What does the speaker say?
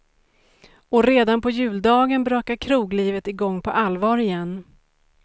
Och redan på juldagen brakar kroglivet i gång på allvar igen.